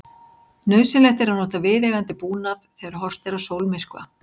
Nauðsynlegt er að nota viðeigandi búnað þegar horft er á sólmyrkva.